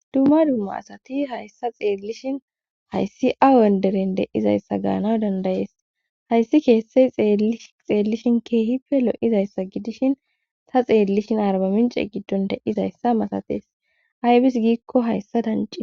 dumma dumma asati hayssa xeellishin hayssi awenderen deizayssa gaanaw dandayees hayssi keessey xeellishin keehipe lo7izayssa gidishin ta xeellishin arbamince giddon de7izayssa matatees aybis giikko hayssa dancin